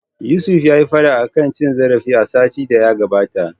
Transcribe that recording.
Yusuf yayi fada akan cin zarafi a satin da ya gabata.